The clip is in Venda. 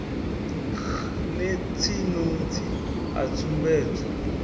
x notsi notsi a tsumbedzo